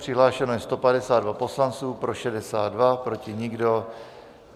Přihlášeni jsou 152 poslanci, pro 62, proti nikdo.